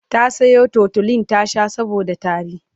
ta Sayo tutolin ta Sha saboda tari